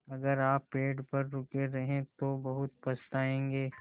अगर आप पेड़ पर रुके रहे तो बहुत पछताएँगे